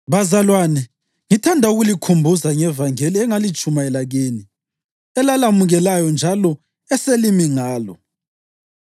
Bazalwane, ngithanda ukulikhumbuza ngevangeli engalitshumayela kini, elalamukelayo njalo eselimi ngalo.